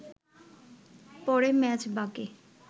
পরে মেজবাকে